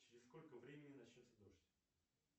через сколько времени начнется дождь